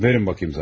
Verin baxım zərfi.